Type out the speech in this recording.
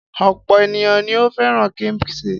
Ọ̀pọ̀ ènìyàn ni ó fẹ́ràn kíḿṣì.